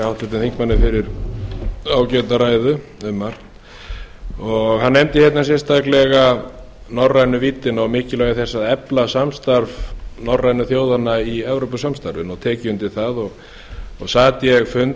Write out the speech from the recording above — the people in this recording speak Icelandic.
háttvirtum þingmanni fyrir ágæta ræðu um margt hann nefndi hérna sérstaklega norrænu víddina og mikilvægi þess að efla samstarf norrænu þjóðanna í evrópusamstarfinu og tek ég undir það sat ég fund nú